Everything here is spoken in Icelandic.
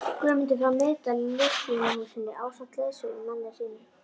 Guðmundar frá Miðdal í Listvinahúsinu ásamt leiðsögumanni sínum.